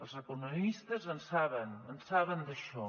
els economistes en saben en saben d’això